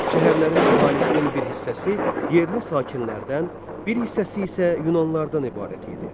Şəhərlərin əhalisinin bir hissəsi yerli sakinlərdən, bir hissəsi isə yunanlılardan ibarət idi.